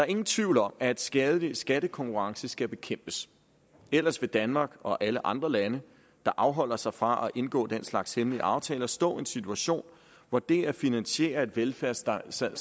ingen tvivl om at skadelig skattekonkurrence skal bekæmpes ellers vil danmark og alle andre lande der afholder sig fra at indgå den slags hemmelige aftaler stå i en situation hvor det at finansiere et velfærdssamfund